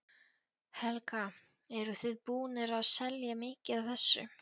Helga: Eruð þið búnir að selja mikið af þessu?